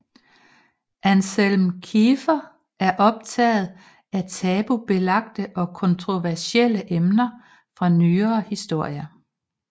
Anselm Kiefer er optaget af tabubelagte og kontroversielle emner fra nyere historie